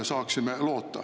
– saaksime loota.